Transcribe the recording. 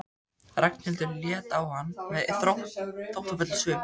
Ragnhildur leit á hann með þóttafullum svip.